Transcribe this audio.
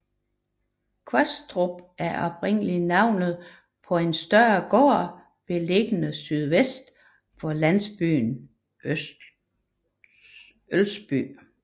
Kvastrup er oprindelig navnet på en større gård beliggende sydvest for landsbyen Ølsby